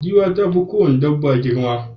Giwa ta fi ko wace dabba girma